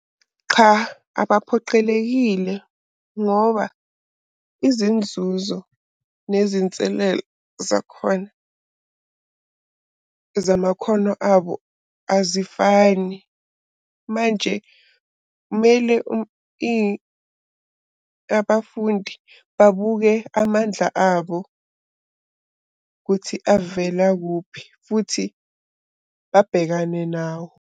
Qha abaphoqelekile ngoba izinzuzo nezinselelo zakhona zamakhono abo azifani. Manje kumele abafundi babuke amandla abo ukuthi avela kuphi futhi babhekane nawo.